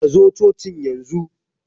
Kazo cocin yanzu!